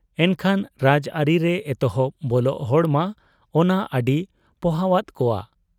ᱮᱱᱠᱷᱟᱱ ᱨᱟᱡᱽ ᱟᱹᱨᱤ ᱨᱮ ᱮᱛᱚᱦᱚᱵ ᱵᱚᱞᱚᱜ ᱦᱚᱲᱢᱟ ᱚᱱᱟ ᱟᱹᱰᱤ ᱯᱚᱦᱚᱣᱟᱫ ᱠᱚᱣᱟ ᱾